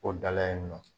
O dala yen nɔ